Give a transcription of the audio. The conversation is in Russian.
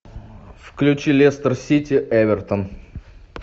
включи лестер сити эвертон